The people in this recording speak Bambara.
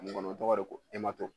kɔnɔ o tɔgɔ de ko